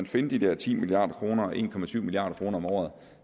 finde de der ti milliard kroner og en milliard kroner om året